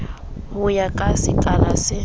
ho ya ka sekala se